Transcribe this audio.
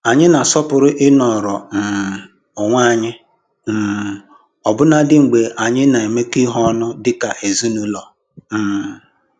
Anyị na-asọpụrụ i nọrọ um onwe anyị um ọbụnadị mgbe anyị nọ na-emekọ ihe ọnụ dika ezinụlọ. um